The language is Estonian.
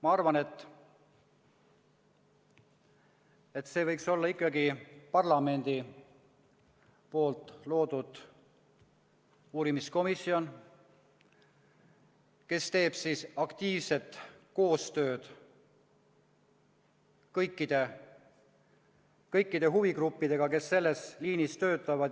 Ma arvan, et see võiks olla ikkagi parlamendi loodud uurimiskomisjon, kes teeb aktiivset koostööd kõikide huvigruppidega, kes selles liinis töötavad.